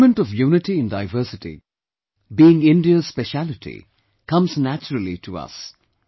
The element of Unity in diversity being India's speciality comes naturally to us